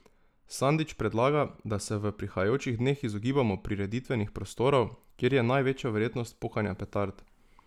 Sandič predlaga, da se v prihajajočih dneh izogibamo prireditvenih prostorov, kjer je največja verjetnost pokanja petard.